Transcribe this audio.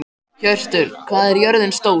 Hjörtur, hvað er jörðin stór?